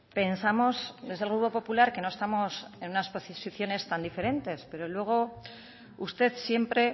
pensamos desde el grupo popular que no estamos en unas posiciones tan diferentes pero luego usted siempre